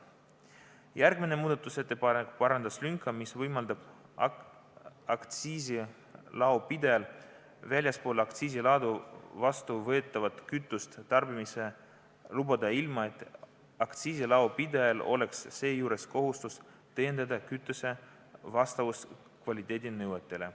Sellele järgnenud muudatusettepanek parandas lünga, mis võimaldab aktsiisilaopidajal väljaspool aktsiisiladu vastuvõetavat kütust tarbimisele lubada ilma, et aktsiisilaopidajal oleks seejuures kohustus tõendada kütuse vastavust kvaliteedinõuetele.